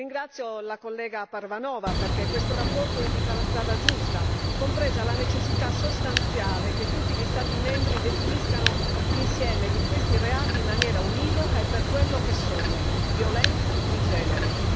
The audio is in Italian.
Ringrazio la collega Parvanova perché questa relazione indica la strada giusta, compresa la necessità sostanziale che tutti gli Stati membri definiscano l'insieme di questi reati in maniera univoca e per quello che sono violenza di genere.